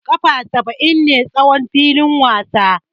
Kafa saba'in ne tsawon filin wasa.